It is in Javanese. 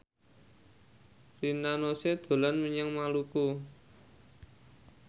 Rina Nose dolan menyang Maluku